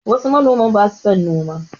Wasu manoman ba su son noma